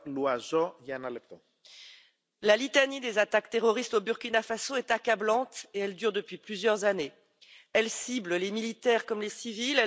Monsieur le Président, la litanie des attaques terroristes au Burkina Faso est accablante, et cela dure depuis plusieurs années. Elle cible les militaires comme les civils